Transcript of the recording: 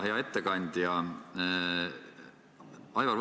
Hea ettekandja!